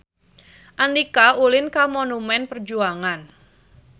Andika ulin ka Monumen Perjuangan